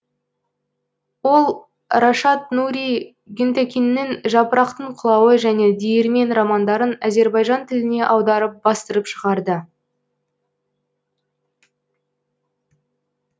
ол рашад нури гюнтекиннің жапырақтың құлауы және диірмен романдарын азербайжан тіліне аударып бастырып шығарды